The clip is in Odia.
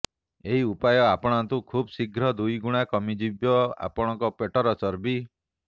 ଏହି ଉପାୟ ଆପଣାନ୍ତୁ ଖୁବ୍ଶୀଘ୍ର ଦୁଇଗୁଣା କମିଯିବ ଆପଣଙ୍କ ପେଟର ଚର୍ବି